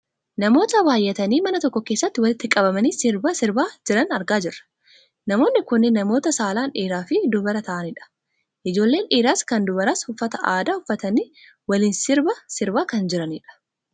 Namoota baayyatanii mana tokko keessatti walitti qabamanii sirba sirbaa jiran argaa jirra. Namoonni kunneen namoota saalaan dhiiraafi dubara ta'anidha. Ijoolleen dhiiraas kan dubaraas uffata aadaa uffatanii waliin sirba sirbaa kan jiranidha.